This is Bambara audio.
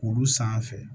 Kuru sanfɛ